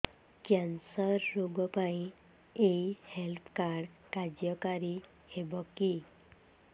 cancer ରୋଗ ପାଇଁ ଏଇ ହେଲ୍ଥ କାର୍ଡ କାର୍ଯ୍ୟକାରି ହେବ କି